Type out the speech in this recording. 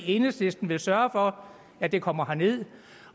enhedslisten vil sørge for at det kommer herned